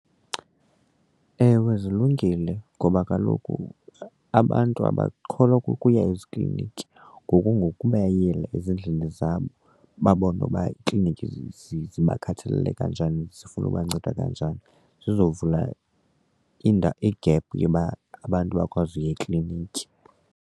Ewe, zilungile ngoba kaloku abantu abakholwa kukuya ezikliniki ngoku ngokubayela ezindlini zabo babone uba iklinikhi zibakhathalele kanjani zifuna ubanceda kanjani sizovula i-gap yoba abantu bakwazi ukuya ekliniki.